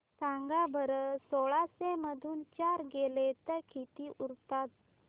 सांगा बरं सोळाशे मधून चार गेले तर किती उरतात